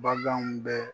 Baganw bɛ